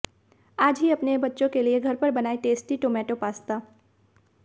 आज ही अपने बच्चों के लिए घर पर बनाएं टेस्टी टोमेटो पास्ता